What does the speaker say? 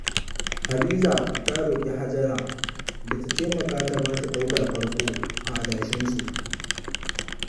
Hadiza ta roƙi Hajara da ta taimaka ta bata ɗaukan farko, a adashinsu.